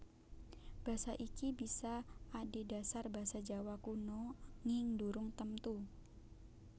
Basa iki bisa adhedhasar basa Jawa Kuna nging durung temtu